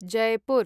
Jaipur